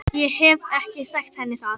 Ég hef ekki sagt henni það.